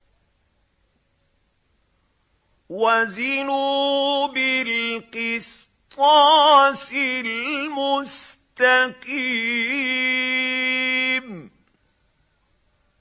وَزِنُوا بِالْقِسْطَاسِ الْمُسْتَقِيمِ